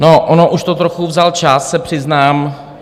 No, on už to trochu vzal čas, se přiznám.